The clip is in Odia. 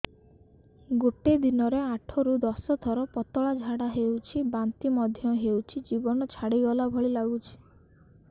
ଗୋଟେ ଦିନରେ ଆଠ ରୁ ଦଶ ଥର ପତଳା ଝାଡା ହେଉଛି ବାନ୍ତି ମଧ୍ୟ ହେଉଛି ଜୀବନ ଛାଡିଗଲା ଭଳି ଲଗୁଛି